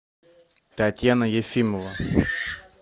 татьяна ефимова